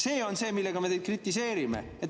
See on see, mille eest me teid kritiseerime.